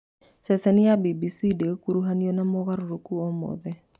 Ceceni ya BBC ndĩgũkuruhanio na moogarũrũku o mothe